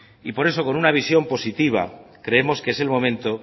y por eso con una visión positiva creemos que es el momento